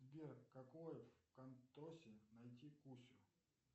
сбер в какой кантосе найти кусю